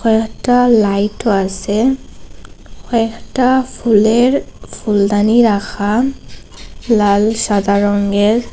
কয়েকটা লাইট -ও আসে কয়েকটা ফুলের ফুলদানি রাখা লাল সাদা রঙ্গের।